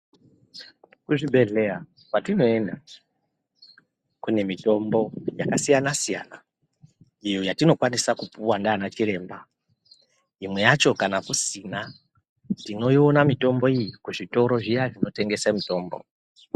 Kuzvibhedhleya kwatinoyenda, kune mitombo yakasiyana-siyana, iyo yatinokwanisa kupuwa ndana chiremba, imwe yacho kana kusina, tinoyiona mitombo iyi kuzvitoro zviya zvinotengesa mitombo.